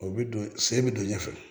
O bɛ don sen bɛ don ɲɛfɛ